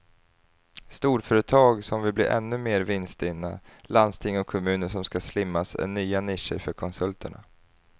Storföretag som vill bli ännu mer vinststinna, landsting och kommuner som ska slimmas är nya nischer för konsulterna.